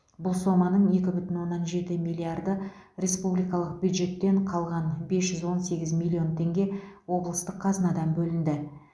бұл соманың екі бүтін оннан жеті миллиарды республикалық бюджеттен қалған бес жүз он сегіз миллион теңге облыстық қазынадан бөлінді